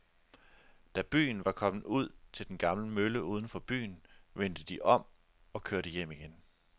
Da de var kommet ud til den gamle mølle uden for byen, vendte de om og kørte hjem igen.